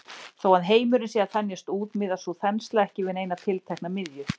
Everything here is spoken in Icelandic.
Þó að heimurinn sé að þenjast út miðast sú þensla ekki við neina tiltekna miðju.